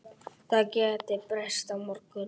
Það gæti breyst á morgun.